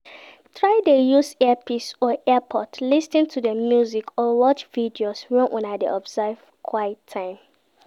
Try de use earpiece or earpods lis ten to music or watch videos when Una de observe quite time